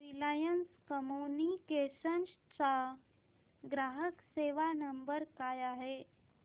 Reliance Communications चा ग्राहक सेवा नंबर काय आहे